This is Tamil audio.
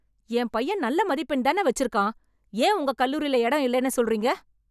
என் பையன் நல்ல மதிப்பெண் தான வச்சிருக்கான். ஏன் உங்க கல்லூரில எடம் இல்லெனு சொல்றீங்க?